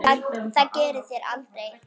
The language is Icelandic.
Það gerið þér aldrei.